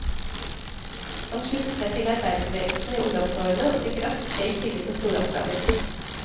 Han sluttet seg til arbeiderbevegelsen i ungdomsårene, og fikk raskt høy tillit og store oppgaver.